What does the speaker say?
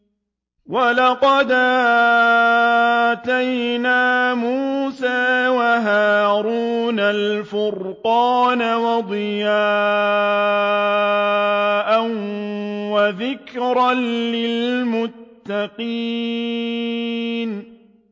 وَلَقَدْ آتَيْنَا مُوسَىٰ وَهَارُونَ الْفُرْقَانَ وَضِيَاءً وَذِكْرًا لِّلْمُتَّقِينَ